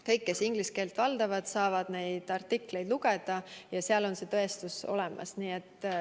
Kõik, kes inglise keelt valdavad, saavad neid artikleid ise lugeda ja seal on tõestus olemas.